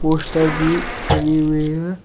Poster भी लगी हुई हैं।